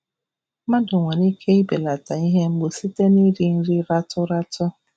Mmadụ nwere ike belata ihe mgbu site n'iri nri ratụ ratụ.